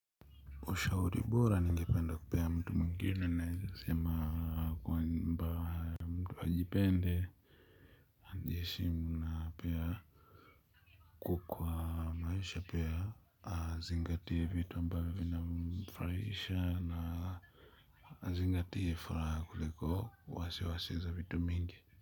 Ushauri bora ningependa kupea mtu mwingine naweza sema kwamba, mtu ajipende, ajiheshimu na pia kwa maisha pia azingatie vitu ambavyo vinamfurahisha na azingatie furaha kuliko wasiwasi za vitu mingi.